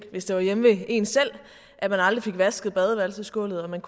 hvis det var hjemme ved en selv at man aldrig fik vasket badeværelsesgulvet og man